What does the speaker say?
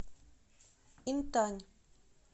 интань